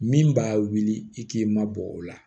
Min b'a wuli i k'i mabɔ o la